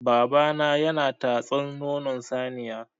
Babana yana tatsan nonon saniya.